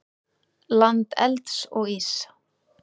Land elds og íss.